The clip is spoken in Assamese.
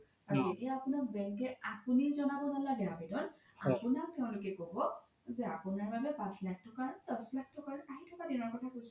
আৰু এতিয়া আপোনাৰ bank কে আপোনি জ্নাব নালাগে আবেদন আপোনাক তেওলোকে ক্'ব যে আপোনাৰ বাবে পাশ লাখ তকাৰ দশ লাখ তকাৰ আহি থকা দিনৰ কথা কৈছো